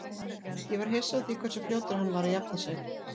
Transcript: Ég var hissa á því hversu fljótur hann var að jafna sig.